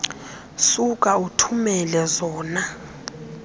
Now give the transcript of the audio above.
suka uthumele zona